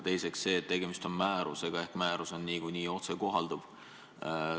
Teiseks, tegemist on määrusega ja määrus on niikuinii otsekohalduv.